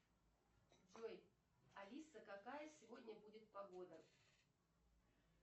джой алиса какая сегодня будет погода